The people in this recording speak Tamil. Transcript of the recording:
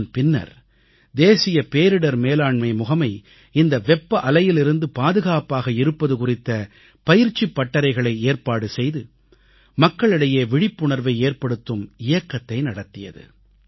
இதன்பின்னர் தேசிய பேரிடர் மேலாண்மை முகமை இந்த வெப்ப அலையிலிருந்து பாதுகாப்பாக இருப்பது குறித்த பயிற்சிப் பட்டறைகளை ஏற்பாடு செய்து மக்களிடையே விழிப்புணர்வை ஏற்படுத்தும் இயக்கத்தை நடத்தியது